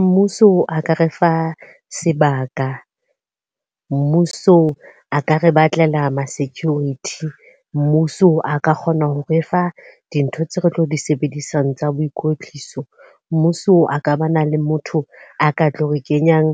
Mmuso a ka re fa sebaka, mmuso a ka re batlela ma-security. Mmuso a ka kgona ho re fa dintho tseo re tlo di sebedisang tsa boikotliso. Mmuso a ka ba na le motho a ka tlo re kenyang